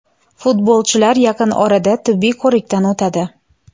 Futbolchilar yaqin orada tibbiy ko‘rikdan o‘tadi.